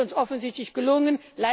Das ist uns offensichtlich gelungen.